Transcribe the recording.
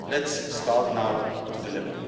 us. Let's start now to deliver.